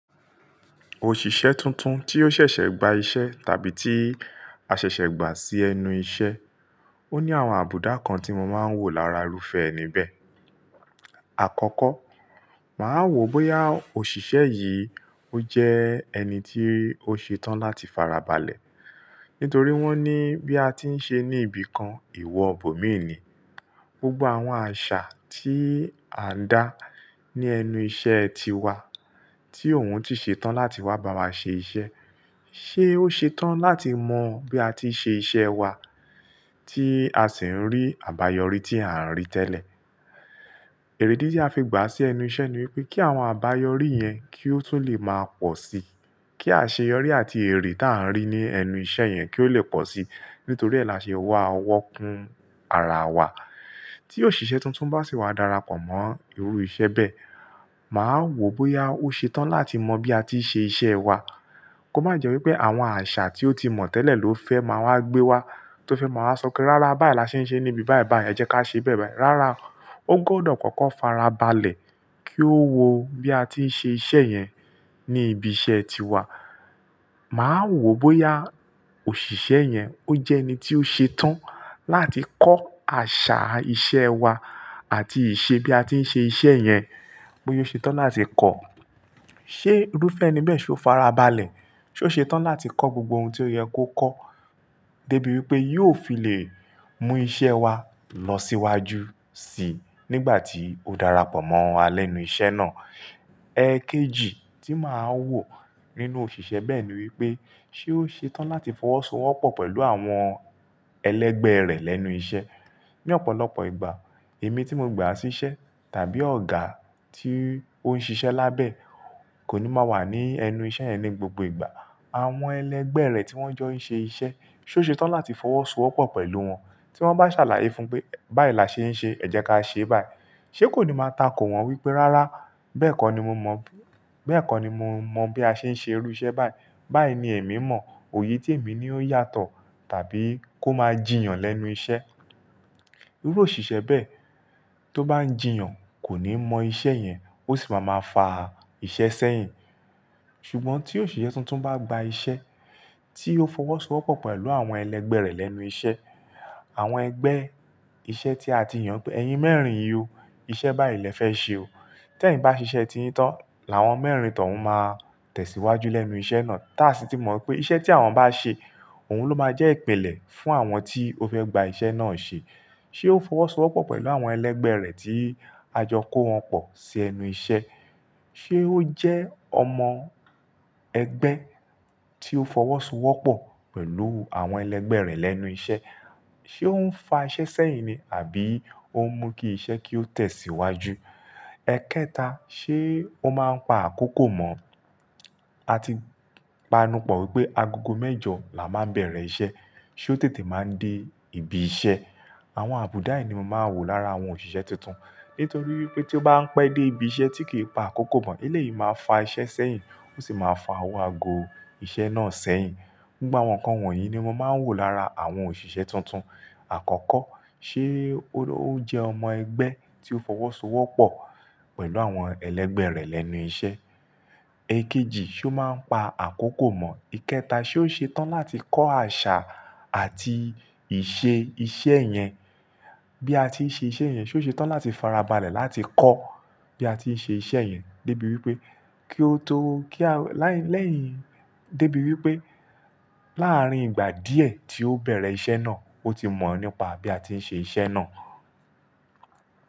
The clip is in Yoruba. Òṣìṣẹ́ tuntun tí ó ṣẹ̀ṣẹ̀ gba iṣẹ́ tàbí tí a ṣẹ̀ṣẹ̀ gbà sí ẹnu iṣẹ́, ó ní àwọn àbùdá kan tí mo máa ń wò lára irúfẹ́ ẹni bẹ́ẹ̀. Àkọ́kọ́, màá wò bóyá òṣìṣẹ́ yìí ó jẹ́ ẹni tí ó ṣe tán láti fara balẹ̀. Nítorí wọ́n ní bí a ti ń ṣe ní ibìkan, ewọ bòmíì ni. Gbogbo àwọn àṣà tí à ń dá ní ẹnu iṣẹ́ ti wa tí òun ti ṣe tán láti wá bá wa ṣe iṣẹ́. Ṣé ó ṣe tán láti mọ bí a ti ṣe iṣẹ́ wa tí a sì ń rí àbáyọrí tí a ń rí tẹ́lẹ̀? Èrèdí tí a fi gbà sí ẹnu iṣẹ́ ni wípé kí àwọn àbáyọrí yẹn kí ó tún lè máa pọ̀ sí i. Kí àṣeyọrí àti èrè tí a ń rí ní ẹnu iṣẹ́ yẹn kí ó lè pọ̀ sí i. Nítorí ẹ́ la ṣe wá owọ́ kún ara wa. Tí òṣìṣẹ́ tuntun bá sì wá darapọ̀ mọ́ irú iṣẹ́ bẹ́ẹ̀, màá wò bóyá ó ṣe tán láti mọ bí a ti ṣe iṣẹ́ wa. Kò má jẹ́ wípé àwọn àṣà tí ó ti mọ̀ tẹ́lẹ̀ ló fẹ́ máa wá gbé wa, tó fẹ́ máa wá sọ pé rárá báyìí la ṣe ń ṣe níbi báyìí báyìí, ẹ jẹ́ ká ṣe bẹ́ẹ̀ báyìí. Rárá, ó gbọdọ̀ kọ́kọ́ fara balẹ̀ kí ó wo bí a ti ń ṣe iṣẹ́ yẹn ní ibi iṣẹ́ tiwa. Màá wò bóyá òṣìṣẹ́ yẹn ó jẹ́ ẹni tí ó ṣe tán láti kọ́ àṣà iṣẹ́ wa àti ìṣe bí a ti ń ṣe iṣẹ́ yẹn, bóyá ó ṣe tán láti kọ́. Ṣé irúfẹ́ ẹni bẹ́ẹ̀ ṣe ó fara balẹ̀? Ṣé ó ṣe tán láti kọ́ gbogbo ohun tí ó yẹ kó kọ́ débi wípé yóò fi lè mú iṣẹ́ wa lọ síwájú sí i nígbà tí ó darapọ̀ mọ́ wa lẹ́nu iṣẹ́ náà? Ẹ̀ẹ̀kejì tí màá wò nínú òṣìṣẹ́ bẹ́ẹ̀ ni wípé ṣé ó ṣe tán láti fọwọ́sowọ́pọ̀ pẹ̀lú àwọn ẹlẹ́gbẹ́ rẹ̀ lẹ́nu iṣẹ́? Ní ọ̀pọ̀lọpọ̀ ìgbà, èmi tí mo gbà sí iṣẹ́ tàbí ọ̀gá tí ó ń ṣiṣẹ́ lábẹ́ kò ní máa wà ní ẹnu iṣẹ́ yẹn ní gbogbo ìgbà. Àwọn ẹlẹ́gbẹ́ rẹ̀ tí wọ́n jọ ń ṣe iṣẹ́, ṣé ó ṣe tán láti fọwọ́sowọ́pọ̀ pẹ̀lú wọn? Tí wọ́n bá ṣàlàyé fún pé báyìí la ṣe ń ṣe, ẹ jẹ́ ká ṣe báyìí. Ṣé kò ní máa tako wọ́n wípé rárá bẹ́ẹ̀ kọ́ ni mo mọ̀, bẹ́ẹ̀ kọ́ ni mo mọ̀ bí a ṣe ń ṣe irú iṣẹ́ báyìí. Báyìí ni èmi mọ̀. Òye tí èmi ní ó yàtọ̀ tàbí kó máa jìyàn lẹ́nu iṣẹ́. Irú òṣìṣẹ́ bẹ́ẹ̀ tó bá ń jìyàn kò ní mọ iṣẹ́ yẹn, ó sì máa máa fa iṣẹ́ sẹ́yìn. Ṣùgbọ́n tí òṣìṣẹ́ tuntun bá gba iṣẹ́ tí ó fọwọ́sowọ́pọ̀ pẹ̀lú àwọn ẹlẹ́gbẹ́ rẹ̀ lẹ́nu iṣẹ́, àwọn ẹgbẹ́ iṣẹ́ tí a ti yàn pé ẹyin mẹ́rin yín o, iṣẹ́ báyìí lẹ fẹ́ ṣe o. Tẹ́ ẹ̀yin bá ṣiṣẹ́ ti yín tán, làwọn mẹ́rin tọ̀ ń máa tẹ̀síwájú lẹ́nu iṣẹ́ náà. Táàsí tí mo mọ̀ pé iṣẹ́ tí àwọn bá ṣe òun ló máa jẹ́ ìpelè fún àwọn tí ó fẹ́ gba iṣẹ́ náà ṣe. Ṣé ó fọwọ́sowọ́pọ̀ pẹ̀lú àwọn ẹlẹ́gbẹ́ rẹ̀ tí a jọ kó wọn pọ̀ sí ẹnu iṣẹ́? Ṣé ó jẹ́ ọmọ ẹgbẹ́ tí ó fọwọ́sowọ́pọ̀ pẹ̀lú àwọn ẹlẹ́gbẹ́ rẹ̀ lẹ́nu iṣẹ́? Ṣé ó ń fa iṣẹ́ sẹ́yìn ni àbí ó ń mú kí iṣẹ́ kí ó tẹ̀síwájú? Ẹ̀kẹta, ṣé ó máa ń pa àkókò mọ̀? A ti panupọ̀ wípé agogo mẹ́jọ là máa ń bẹ̀rẹ̀ iṣẹ́, ṣé ó tètè máa ń dé ibi iṣẹ́? Àwọn àbùdá yìí ni mo máa ń wò lára àwọn òṣìṣẹ́ tuntun. Nítorí wípé tí ó bá ń pẹ́ dé ibi iṣẹ́ tí kì í pa àkókò mọ̀, ilé yìí máa fa iṣẹ́ sẹ́yìn, ó sì máa fa àwọn ago iṣẹ́ náà sẹ́yìn. Gbogbo àwọn nǹkan wọ̀nyí ni mo máa ń wò lára àwọn òṣìṣẹ́ tuntun. Àkọ́kọ́, ṣé ó jẹ́ ọmọ ẹgbẹ́ tí ó fọwọ́sowọ́pọ̀ pẹ̀lú àwọn ẹlẹ́gbẹ́ rẹ̀ lẹ́nu iṣẹ́? Ẹ̀ẹ̀kejì, ṣé ó máa ń pa àkókò mọ̀? Ìkẹta, ṣé ó ṣe tán láti kọ́ àṣà àti ìṣe iṣẹ́ yẹn bí a ti ń ṣe iṣẹ́ yẹn? Ṣé ó ṣe tán láti fara balẹ̀ láti kọ́ bí a ti ń ṣe iṣẹ́ yẹn débi wípé kí ó tó kí a lẹ́yìn, débi wípé láàárín ìgbà díẹ̀ tí ó bẹ̀rẹ̀ iṣẹ́ náà ó ti mọ̀ nípa bí a ti ń ṣe iṣẹ́ náà?